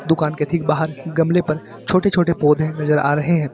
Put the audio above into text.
दुकान के ठीक बाहर गमले पर छोटे छोटे पौधे नजर आ रहे हैं।